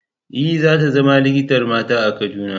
E, za ta zama likitar mata a Kaduna.